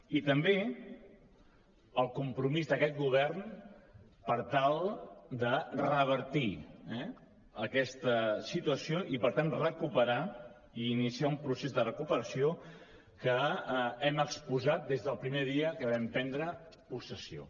i també el compromís d’aquest govern per tal de revertir aquesta situació i per tant recuperar i iniciar un procés de recuperació que hem exposat des del primer dia que vam prendre possessió